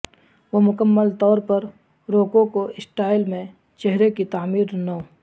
وہ مکمل طور پر روکوکو سٹائل میں چہرے کی تعمیر نو